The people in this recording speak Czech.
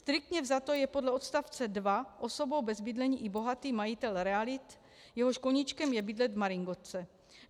Striktně vzato je podle odstavce 2 osobou bez bydlení i bohatý majitel realit, jehož koníčkem je bydlet v maringotce.